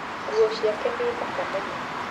Nguo ciake nĩ thaka mũno